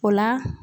O la